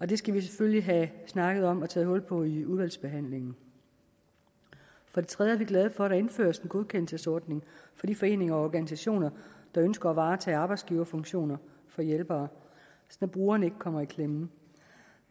det skal vi selvfølgelig have snakket om og taget hul på i udvalgsbehandlingen for det tredje er vi glade for at der indføres en godkendelsesordning for de foreninger og organisationer der ønsker at varetage arbejdsgiverfunktioner for hjælpere så brugerne ikke kommer i klemme